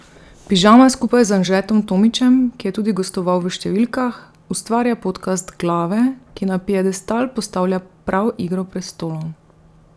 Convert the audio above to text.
Pižama skupaj z Anžetom Tomićem, ki je tudi gostoval v Številkah, ustvarja podcast Glave, ki na piedestal postavlja prav Igro prestolov.